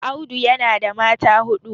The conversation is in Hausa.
Audu yana da mata huɗu